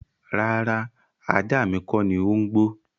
Rárá, ajá mi kọ́ni ó ń gbọ́.